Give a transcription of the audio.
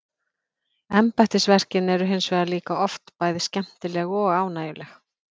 Embættisverkin eru hins vegar líka oft bæði skemmtileg og ánægjuleg.